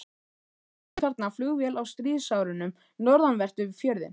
Einnig fórst þarna flugvél á stríðsárunum, norðanvert við fjörðinn.